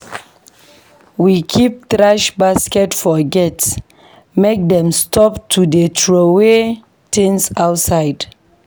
We keep thrash basket for gate make dem stop to dey troway tins outside.